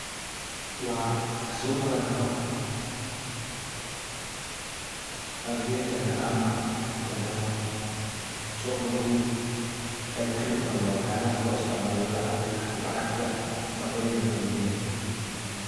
Waa suqa ladoho aviataga ama suqa guud ee kriptoga oo na loo isticmala lacagta nocyadeda kaladuwan.